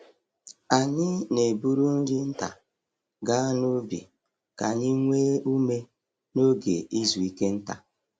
Anyị na-eburu nri nta ga n'ubi ka anyị nwee ume n’oge izu ike nta.